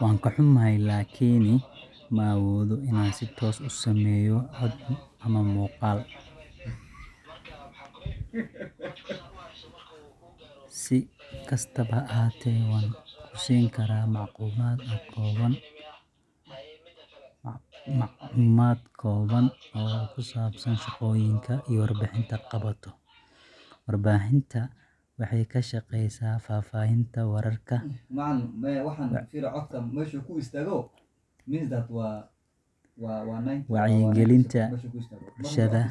Waan ka xumahay, laakiin ma awoodo inaan si toos ah u sameeyo cod ama muuqaal. Si kastaba ha ahaatee, waxaan kugu siin karaa macluumaad kooban oo ku saabsan shaqooyinka ay warbaahintu qabato. Warbaahinta waxay ka shaqeysaa faafinta wararka, wacyigelinta bulshada,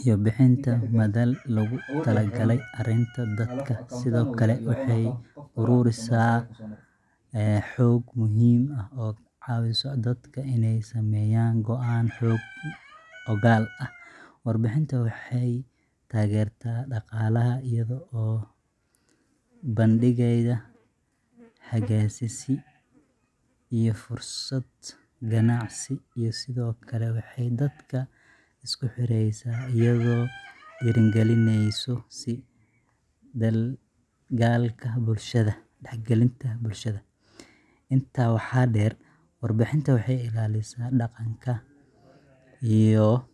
iyo bixinta madal loogu talagalay aragtida dadka. Sidoo kale, waxay ururisaa xog muhiim ah oo ka caawisa dadka inay sameeyaan go’aano xog ogaal ah. Warbaahinta waxay taageertaa dhaqaalaha iyada oo soo bandhigaysa xayeysiisyo iyo fursado ganacsi, iyo sidoo kale waxay dadka isku xireysaa, iyadoo dhiirrigelinaysa is-dhexgalka bulshada. Intaa waxaa dheer, warbaahinta waxay ilaalisaa dhaqanka iyo farshaxanka, taasoo ka dhigaysa inay door muhiim ah ka ciyaarto bulshada. Haddii aad u baahato faahfaahin dheeraad ah, waan ku caawin karaa!